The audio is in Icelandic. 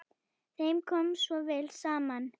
Þeim kom svo vel saman.